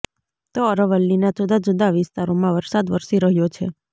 તો અરવલ્લીના જુદા જુદા વિસ્તારોમાં વરસાદ વરસી રહ્યો છે